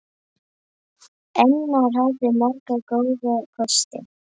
Einar hafði marga góða kosti.